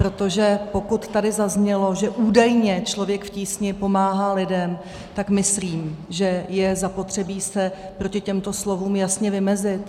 Protože pokud tady zaznělo, že údajně Člověk v tísni pomáhá lidem, tak myslím, že je zapotřebí se proti těmto slovům jasně vymezit.